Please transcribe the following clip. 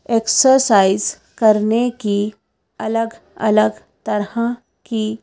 exercise करने की अलग-अलग तरह की--